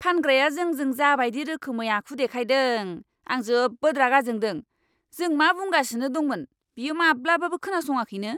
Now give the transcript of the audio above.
फानग्राया जोंजों जा बायदि रोखोमै आखु देखायदों, आं जोबोद रागा जोंदों, जों मा बुंगासिनो दंमोन बियो माब्लाबाबो खोनासङाखैनो।